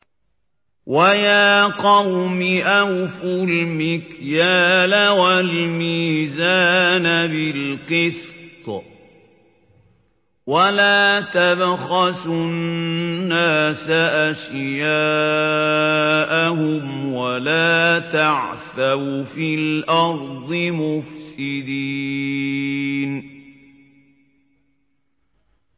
وَيَا قَوْمِ أَوْفُوا الْمِكْيَالَ وَالْمِيزَانَ بِالْقِسْطِ ۖ وَلَا تَبْخَسُوا النَّاسَ أَشْيَاءَهُمْ وَلَا تَعْثَوْا فِي الْأَرْضِ مُفْسِدِينَ